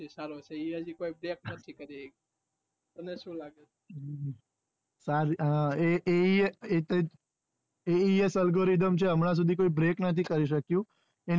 એ ઈ સ algorithm છે હમણાં સુધી કોઈ break નથી કરી શક્યો